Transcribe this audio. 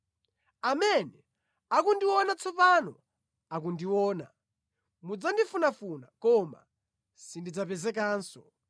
Amene akundiona tsopano akundiona; mudzandifunafuna koma sindidzapezekanso.